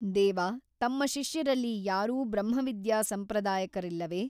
ದೇವ ತಮ್ಮ ಶಿಷ್ಯರಲ್ಲಿ ಯಾರೂ ಬ್ರಹ್ಮವಿದ್ಯಾ ಸಂಪ್ರದಾಯಕರಿಲ್ಲವೆ ?